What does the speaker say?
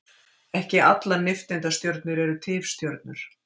ekki allar nifteindastjörnur eru tifstjörnur